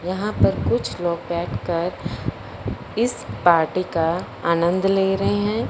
यहां पर कुछ लोग बैठकर इस पार्टी का आनंद ले रहे है।